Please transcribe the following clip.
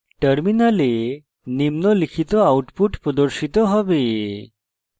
terminal output প্রদর্শিত হবে